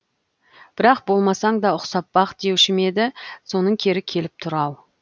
бірақ болмасаң да ұқсап бақ деуші ме еді соның кері келіп тұр ау